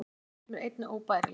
Þetta finnst mér einnig óbærilegt